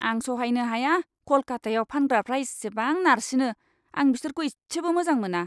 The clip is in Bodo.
आं सहायनो हाया कलकतायाव फानग्राफ्रा इसेबां नारसिनो। आं बिसोरखौ इसेबो मोजां मोना!